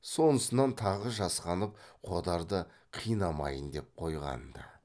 сонысынан тағы жасқанып қодарды қинамайын деп қойған ды